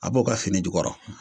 A b'o ka fini jukɔrɔ